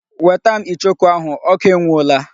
Weta m ichoku ahụ! Oku enwuola.